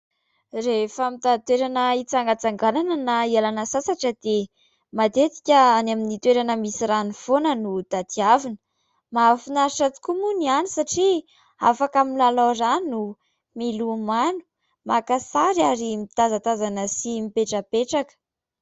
Rehefa mitady toerana hitsangatsanganana na ialana sasatra dia matetika any amin'ny toerana misy rano foana no tadiavina ; mahafinaritra tokoa moa ny satria afaka milalao rano, milomano, makasary ary mitazantazana sy mipetrapetraka.